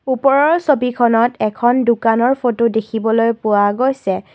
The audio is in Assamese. ওপৰৰ ছবিখনত এখন দোকানৰ ফটো দেখিবলৈ পোৱা গৈছে।